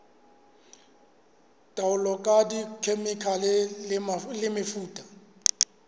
taolo ka dikhemikhale le mefuta